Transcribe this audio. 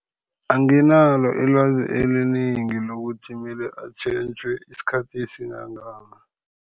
Anginalo ilwazi elinengi lokuthi mele atjhentjhwe isikhathi esinangani.